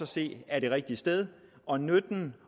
se er det rigtige sted og nytten